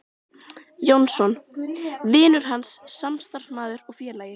Jónsson: vinur hans, samstarfsmaður og félagi.